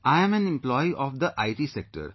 I am an employee of the IT sector